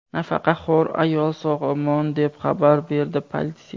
Nafaqaxo‘r ayol sog‘-omon, deb xabar berdi politsiya.